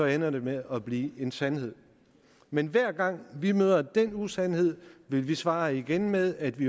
ender den med at blive en sandhed men hver gang vi møder den usandhed vil vi svare igen med at vi